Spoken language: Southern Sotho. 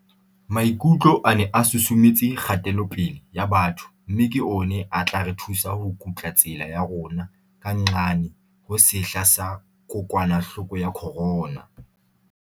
Maikutlo a ne a susumetse kgatelopele ya batho mme ke ona a tla re thusa ho kutla tsela ya rona ka nqane ho sehla sa kokwanahloko ya corona.